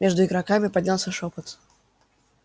между игроками поднялся шёпот